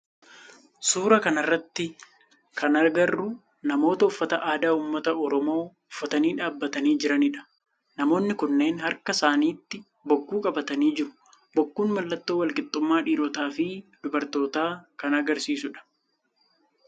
Suuraa kana irratti kan agarru namoota uffata aadaa ummata oromoo uffatanii dhaabbatanii jiranidha. Namoonni kunneen harka isaanitti bokkuu qabatanii jiru. Bokkuun mallattoo wal qixxummaa dhiirotaa fi dubartootaa kan agarsiisu dha